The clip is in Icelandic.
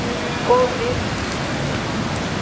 Og miður sín.